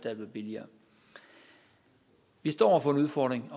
er blevet billigere vi står over for en udfordring